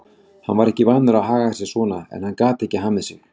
Hann var ekki vanur að haga sér svona en hann gat ekki hamið sig.